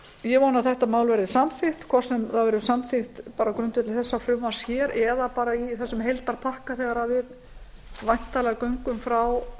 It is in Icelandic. ég vona að þetta mál verði samþykkt hvort sem það verður samþykkt bara á grundvelli þessa frumvarps eða í þessum heildarpakka þegar við væntanlega göngum frá